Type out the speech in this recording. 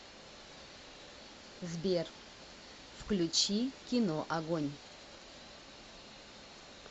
сбер включи кино огонь